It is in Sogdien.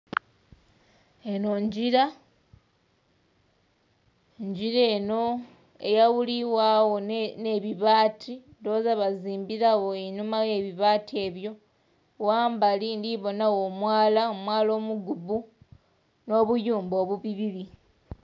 Enho ngira, engira enho eyawulibwagho nhe bibaati ndhighoza bazimbiragho einhuma y'ebibaati ebyo. Ghambali ndhibonhagho omwala, omwala omugubu n'obuyumba obubibubi.